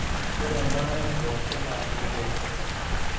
ore embaare pooki na kegol.